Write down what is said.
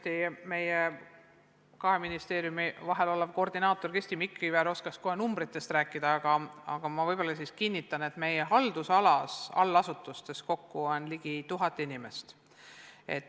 Kindlasti oskaks meie kahe ministeeriumi vaheline koordinaator Kristi Mikiver kohe numbritest rääkida, aga ma kinnitan, et meie haldusalas olevates allasutustes on kokku ligi tuhat inimest.